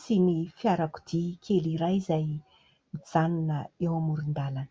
sy ny fiarakodia kely iray izay mijanona eo amoron-dàlana.